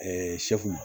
ma